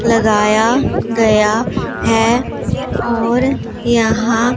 लगाया गया है और यहां--